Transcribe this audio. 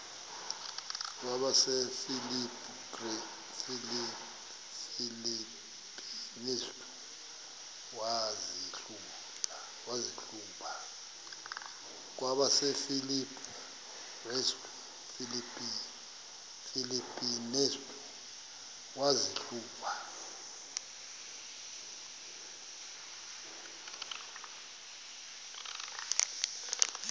kwabasefilipi restu wazihluba